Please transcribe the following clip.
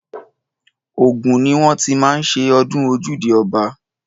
Ògùn ni wọ́n ti má ń ṣe ọdún ojúde ọba.